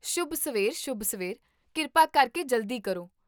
ਸ਼ੁਭ ਸਵੇਰ ਸ਼ੁਭ ਸਵੇਰ, ਕਿਰਪਾ ਕਰਕੇ ਜਲਦੀ ਕਰੋ